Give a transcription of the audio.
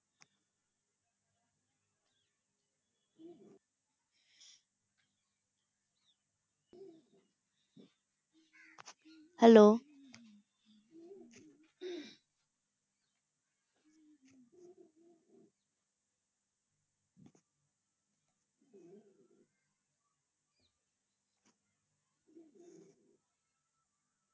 Hello